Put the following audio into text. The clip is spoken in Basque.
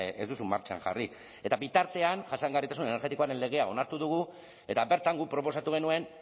ez duzu martxan jarri eta bitartean jasangarritasun energetikoaren legea onartu dugu eta bertan guk proposatu genuen